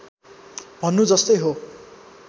भन्नु जस्तै हो